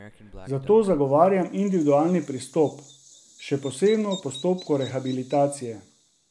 Zato zagovarjam individualni pristop, še posebno v postopku rehabilitacije.